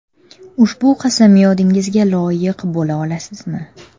Ushbu qasamyodingizga loyiq bo‘la olasizmi?